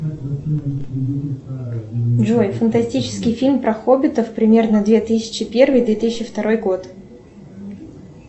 джой фантастический фильм про хоббитов примерно две тысячи первый две тысячи второй год